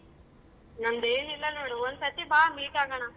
ನಂದೆನಿಲ್ಲ ನೋಡು ಒಂದ್ ಸತಿ ಬಾ meet ಆಗಣ.